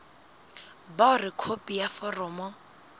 ba hore khopi ya foromo